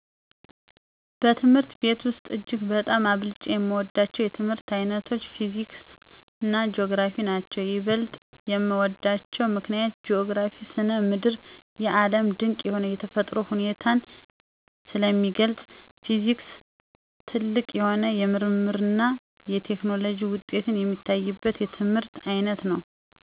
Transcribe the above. በትምህርት ቤት ውሰጥ እጅግ በጣም አብልጨ የምወዳቸው የትምህርት ዓይነቶች ፊዚክስና ጂኦግራፊ ናቸዉ። ይበልጥ የምወድባቸው ምክንያት ጂኦግራፊ ( ስነ ምድር ) የዓለም ድቅ የሆነ የተፈጥሮ ሁኔታን ስለሚገልጽ፤ ፊዚክስ ጥልቅ የሆኑ የምርምርና የቴክኖሎጂ ውጤት የሚታይበት የትምህርት ዓይነት ነው።